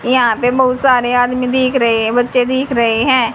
यहां पे बहुत सारे आदमी दिख रहे है बच्चे दिख रहे है।